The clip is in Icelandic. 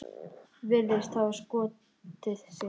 Virðist hafa skotið sig.